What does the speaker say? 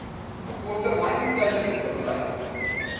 korttermyn tydelike verblyf